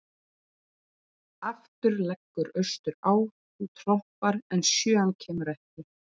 Aftur leggur austur á, þú trompar, en sjöan kemur ekki.